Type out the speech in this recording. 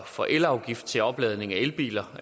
for elafgift til opladning af elbiler